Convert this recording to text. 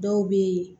Dɔw bɛ yen